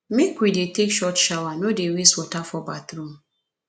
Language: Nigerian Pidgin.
make we dey take short shower no dey waste water for bathroom